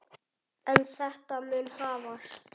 En þetta mun hafast.